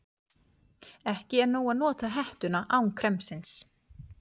Ekki er nóg að nota hettuna án kremsins.